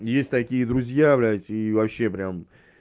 есть такие друзья блять и вообще прям